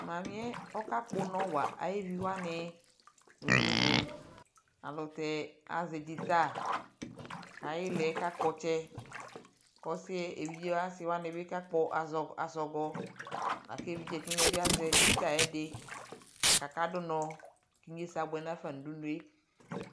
mamiɛ ɔkakpɔ onɔ wa ayɛviwani nudunu alutɛ azɛ dzita ayilɛ kakpɔtsɛ kusiɛ evije asi wani kakpɔ azɔkɔ laku evije tiyɛbi azɛ dzita ɛdi lakaka dunɔ eyesa abuɛnafa no udunue